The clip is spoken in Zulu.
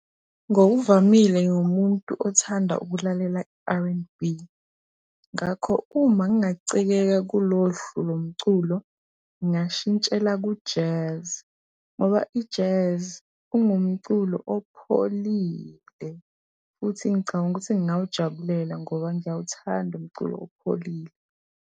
Ngokuvamile ngiwumuntu othanda ukulalela R_N_B. Ngakho, uma ngingacikeka kulo luhlu lomculo ngingashintshela ku-Jazz ngoba i-Jazz ungumculo opholile, futhi ngicabanga ukuthi ngingawujabulela ngoba ngiyawuthanda umculo opholile.